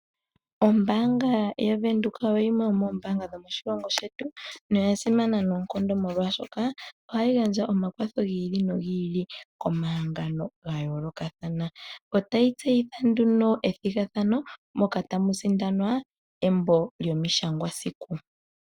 Ombaanga yaVenduka oyo yimwe yomoombaanga dhomoshilongo shetu noya simana noonkondo molwashoka ohayi gandja omakwatho gi oli nogi ili komahangano ga yoolokathana. Otayi tseyitha nduno ethigathano moka tamu sindwana embo lyomishangwasiku.